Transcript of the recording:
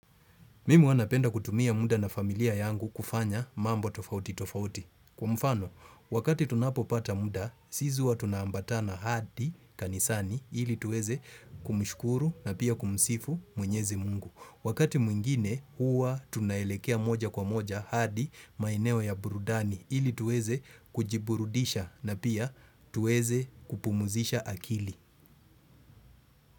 Mimi huwa napenda kutumia muda na familia yangu kufanya mambo tofauti tofauti. Kwa mfano, wakati tunapo pata muda, sisi huwa tunaambatana hadi kanisani ili tuweze kumushkuru na pia kumusifu mwenyezi mungu. Wakati mwingine, huwa tunaelekea moja kwa moja hadi maeneo ya burudani ili tuweze kujiburudisha na pia tuweze kupumuzisha akili.